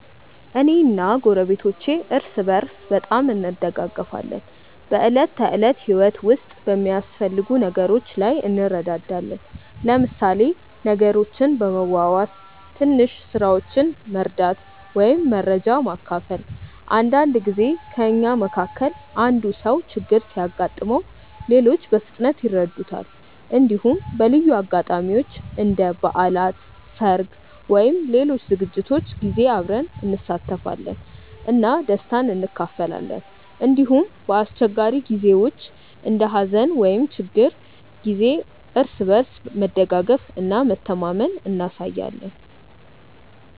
እኔ እና ጎረቤቶቼ እርስ በርስ በጣም እንደጋገፋለን። በዕለት ተዕለት ህይወት ውስጥ በሚያስፈልጉ ነገሮች ላይ እንረዳዳለን፣ ለምሳሌ ነገሮችን በመዋዋስ፣ ትንሽ ስራዎችን መርዳት ወይም መረጃ መካፈል። አንዳንድ ጊዜ ከእኛ መካከል አንዱ ሰው ችግር ሲያጋጥመው ሌሎች በፍጥነት ይረዱታል። እንዲሁም በልዩ አጋጣሚዎች እንደ በዓላት፣ ሰርግ ወይም ሌሎች ዝግጅቶች ጊዜ አብረን እንሳተፋለን እና ደስታን እንካፈላለን። እንዲሁም በአስቸጋሪ ጊዜዎች እንደ ሀዘን ወይም ችግር ጊዜ እርስ በርስ መደጋገፍ እና መተማመን እናሳያለን።